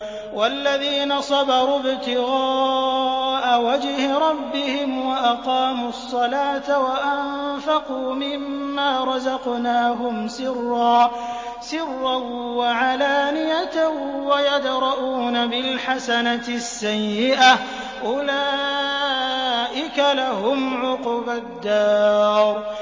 وَالَّذِينَ صَبَرُوا ابْتِغَاءَ وَجْهِ رَبِّهِمْ وَأَقَامُوا الصَّلَاةَ وَأَنفَقُوا مِمَّا رَزَقْنَاهُمْ سِرًّا وَعَلَانِيَةً وَيَدْرَءُونَ بِالْحَسَنَةِ السَّيِّئَةَ أُولَٰئِكَ لَهُمْ عُقْبَى الدَّارِ